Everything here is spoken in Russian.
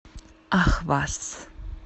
ахваз